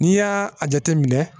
N'i y'a a jateminɛ